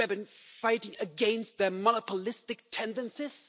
We have been fighting against their monopolistic tendencies.